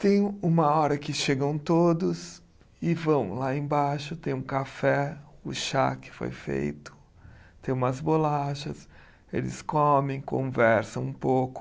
Tem uma hora que chegam todos e vão lá embaixo, tem um café, o chá que foi feito, tem umas bolachas, eles comem, conversam um pouco.